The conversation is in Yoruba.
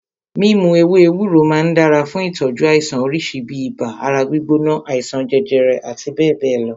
Mímu ewé ewúro máà ń dára fún ìtọ́jú àìsàn oríṣi bíi ibà, ara gbígbóná, àìsàn jẹjẹrẹ àti bẹ́ẹ̀bẹ́ẹ̀ lọ.